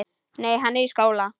Nei, hann er í skóla.